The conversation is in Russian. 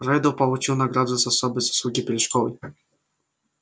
реддл получил награду за особые заслуги перед школой